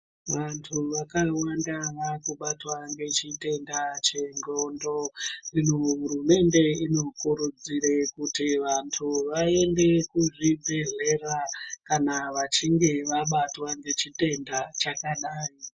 Vantu vakawanda vakubatwa nechitenda chendxondo. Ino hurumende inokurudzire kuti vantu vaende kuzvibhehlera kana vachinge vabatwa ngechitenda chakadai.